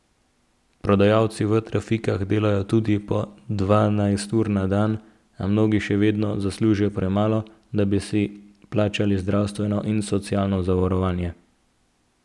Prodajalci v trafikah delajo tudi po dvanajst ur na dan, a mnogi še vedno zaslužijo premalo, da bi si plačali zdravstveno in socialno zavarovanje.